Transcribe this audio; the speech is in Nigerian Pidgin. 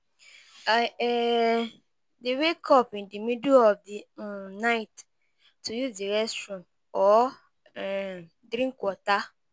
I um dey wake up in the middle of the um night to use the restroom or um drink water.